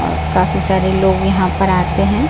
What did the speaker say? काफी सारे लोग यहां पर आते हैं।